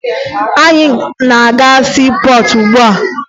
Anyị na-aga na siipọọtụ ugbua